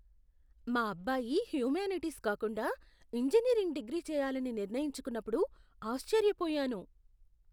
మా అబ్బాయి హ్యుమానిటీస్ కాకుండా ఇంజనీరింగ్ డిగ్రీ చేయాలని నిర్ణయించుకున్నప్పుడు ఆశ్చర్యపోయాను.